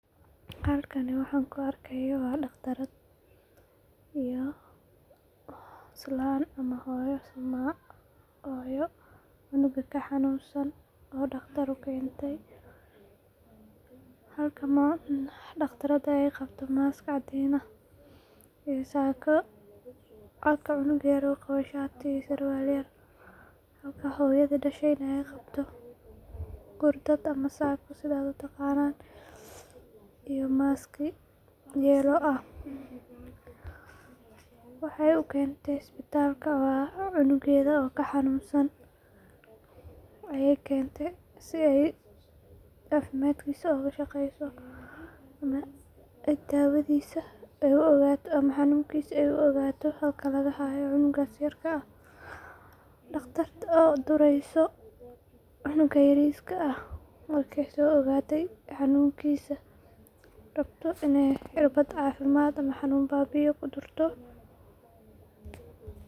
Halkani waxa an ku arkeyo waa daqtaraad iyo islan ama hooyo cunuga ka xanunsan oo daqtar u kentay, halka daqtarada ee qabto mask cadin ah iyo saka, halka xunuga yar u qawo sharti iyo surwal yar, halka hooyadha dashayna ee qabto gurdaad ama sako sitha u taqanan iyo maski yellow ah, wexee u kente isbitalka waa cunugedha oo ka xanunsan ayey kente si ee cafimaadkisa oga shaqeyso dawadhisa ee u ogato ama xanunkisa ee u ogato halka laga hayo cunugas yarka ah, daqtarta oo dureyso cunuga yariska ah marki ee so ogate xanunkisa, rabto in ee cirbaad xanun babiiya ama cafimaad ku durto.